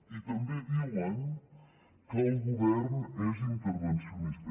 i també diuen que el govern és intervencionista